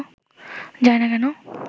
যায় না কেন